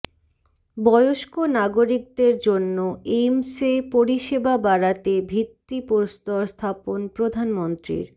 বয়স্ক নাগরিকদের জন্য এইমসে পরিষেবা বাড়াতে ভিত্তিপ্রস্তর স্থাপন প্রধানমন্ত্রীর